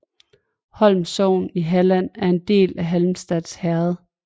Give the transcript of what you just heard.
Holm sogn i Halland var en del af Halmstad herred